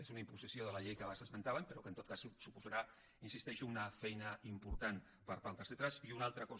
és una imposició de la llei que abans esmentàvem però que en tot cas suposarà hi insisteixo una feina important per part dels lletrats